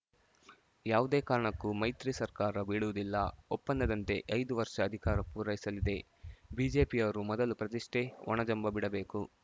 ಯಾವುದೇ ಕಾರಣಕ್ಕೂ ಮೈತ್ರಿ ಸರ್ಕಾರ ಬೀಳುವುದಿಲ್ಲ ಒಪ್ಪಂದದಂತೆ ಐದು ವರ್ಷ ಅಧಿಕಾರ ಪೂರೈಸಲಿದೆ ಬಿಜೆಪಿಯವರು ಮೊದಲು ಪ್ರತಿಷ್ಠೆ ಒಣ ಜಂಭ ಬಿಡಬೇಕು